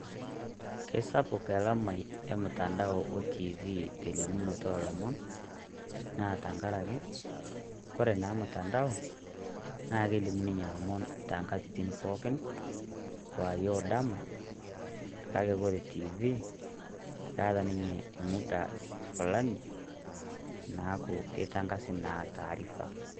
Kesapuk elamai e mutandao o tv lelimunoto oolomon, naa teng'araki kore naa mutandao na kelimu ninye olomon te ng'atitin pookin kwaarie o dama. Kaki kore tv keeta ninye emudaa fulaani naaku ketang'asi naa taarifa.